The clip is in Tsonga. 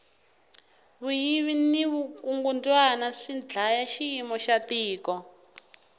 vuyvi ni vukungundwani swi dlaya xiyimo xa tiko